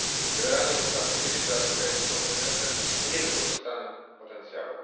Generalnie można powiedzieć, że Afryka jest kontynentem z niewykorzystanym potencjałem.